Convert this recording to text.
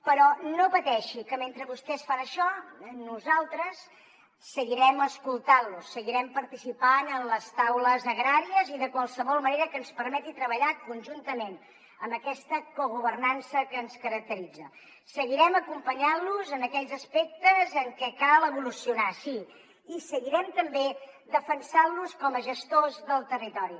però no pateixi que mentre vostès fan això nosaltres seguirem escoltant lo seguirem participant en les taules agràries i de qualsevol manera que ens permeti treballar conjuntament amb aquesta cogovernança que ens caracteritza seguirem acompanyant los en aquells aspectes en què cal evolucionar sí i seguirem també defensant los com a gestors del territori